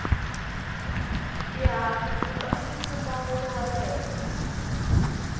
xihahampfhuka xini mpfumawulo wale henhla